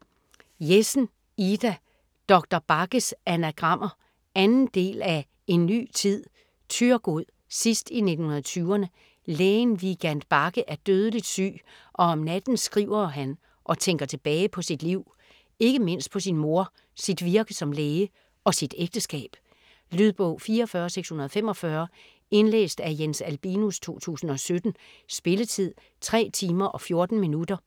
Jessen, Ida: Doktor Bagges anagrammer 2. del af En ny tid. Thyregod, sidst i 1920'erne. Lægen Vigand Bagge er dødeligt syg, og om natten skriver han og tænker tilbage på sit liv. Ikke mindst på sin mor, sit virke som læge og sit ægteskab. Lydbog 44645 Indlæst af Jens Albinus, 2017. Spilletid: 3 timer, 14 minutter.